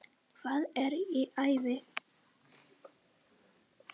Hvað er í ævi?